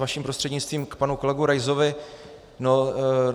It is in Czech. Vaším prostřednictvím k panu kolegovi Raisovi.